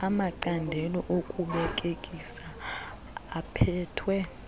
amacandelo okubelekisa aphethwe